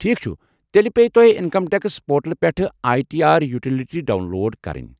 ٹھیٖک چھُ، تیٚلہِ پیہِ تۄہہِ انکم ٹیکس پورٹل پٮ۪ٹھ I T R utility download کرٕنۍ۔